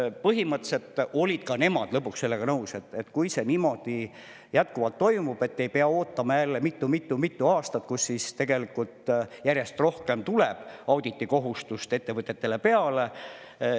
Nii et põhimõtteliselt olid ka nemad lõpuks sellega nõus, et kui see niimoodi jätkuvalt toimub, et ei pea ootama jälle mitu-mitu aastat, nii et tegelikult järjest rohkem tuleb ettevõtetele auditi tegemise kohustust peale.